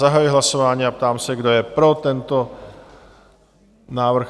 Zahajuji hlasování a ptám se, kdo je pro tento návrh?